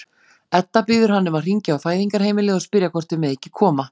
Edda biður hann um að hringja á Fæðingarheimilið og spyrja hvort þau megi ekki koma.